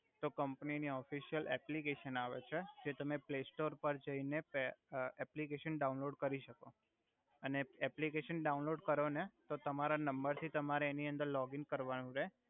તો કમ્પની ની official application આવે છે જે તમે પ્લે સ્ટોર પર જઈ ને એપલિકેશન ડાઉનલોડ કરી સકો અને એપલિકેશન ડાઉનલોડ કરો ને તો તમારા નમ્બર થી તમારે એની અંદર લોગીન કર્વાનુ રે